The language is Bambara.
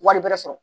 Wari bɛrɛ sɔrɔ